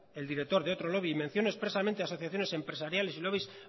el director de otro lobby mención expresamente a asociaciones empresariales y lobbies